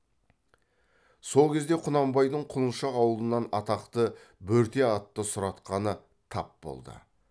сол кезде құнанбайдың құлыншақ аулынан атақты бөрте атты сұратқаны тап болды